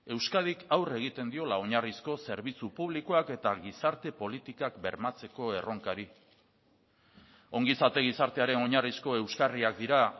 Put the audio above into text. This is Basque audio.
euskadik aurre egiten diola oinarrizko zerbitzu publikoak eta gizarte politikak bermatzeko erronkari ongizate gizartearen oinarrizko euskarriak dira